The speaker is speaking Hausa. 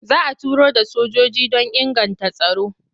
Za a turo da sojoji don inganta tsaro.